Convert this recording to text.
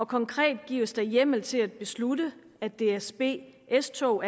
konkret gives der hjemmel til at beslutte at dsb s tog